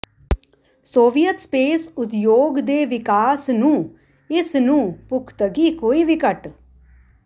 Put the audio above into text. Soviet space ਉਦਯੋਗ ਦੇ ਵਿਕਾਸ ਨੂੰ ਇਸ ਨੂੰ ਪੁਖ਼ਤਗੀ ਕੋਈ ਵੀ ਘੱਟ